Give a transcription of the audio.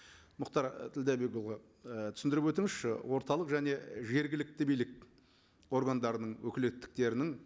мұхтар ділдәбекұлы ы түсіндіріп өтіңізші орталық және жергілікті билік органдарының өкілеттіктерінің